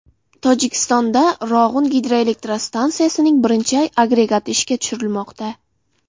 Tojikistonda Rog‘un gidroelektrostansiyasining birinchi agregati ishga tushirilmoqda.